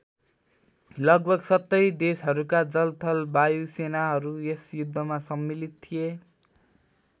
लगभग ७० देशहरूका जल थल वायु सेनाहरू यस युद्धमा सम्मलित थिए।